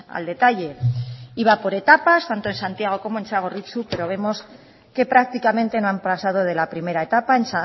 al detalle iba por etapas tanto en santiago como en txagorritxu pero vemos que prácticamente no han pasado de la primera etapa